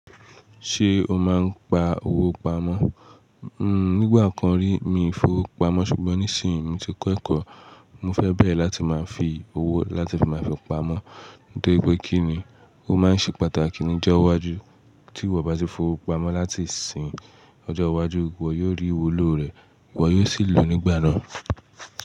Ṣé o máa ń gba owó pamọ́? Nígbà kan rí, mi ò fowo pamọ́ ṣùgbọ́n nísìnyí, mo ti kọ́ ẹ̀kọ́. Mo fẹ́ bẹ́rẹ̀ láti máa fi owó láti fi máa fi pamọ́, torí pé kí ni, ó máa ń ṣe pàtàkì ní ọjọ́ iwájú. Tí ìwọ bá ti fowo pamọ́ láti ìsìn, ọjọ́ iwájú rẹ, ìwọ yóò rí iwulo rẹ̀, ìwọ yóò sì lo nígbà náà.